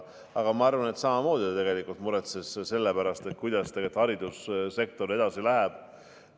Aga ma arvan, et ta tegelikult samamoodi muretses selle pärast, kuidas haridussektoril läheb.